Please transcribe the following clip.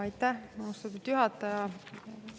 Aitäh, austatud juhataja!